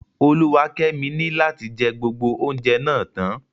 Oluwakemi ni lati jẹ gbogbo oúnjẹ náà tán.